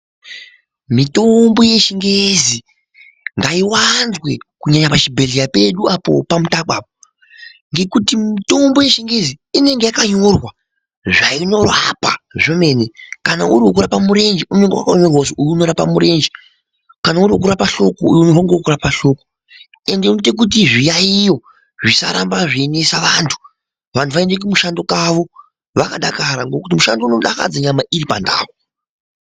Mitombo yechingezi ngaiwanzwe kunyanya pachibhedhlera pedu apo paMutaku apo ngekuti mitombo yechingezi inenge yakanyorwa zvainorapa zvemene kana uriwekurapa murenje unonga wakanyorwa kuti uyu unorapa murenje kana uri wekurapa hloko uyu ngewekurapa hloko ende unoite kuti zviyayiyo zvisaramba zveinesa vantu, vantu vaende kumushando kwavo vakadakara ngokuti mushando unodakadza nyama iripandau.